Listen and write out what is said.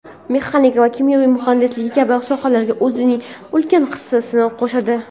mexanika va kimyo muhandisligi kabi sohalarga o‘zining ulkan hissasini qo‘shadi.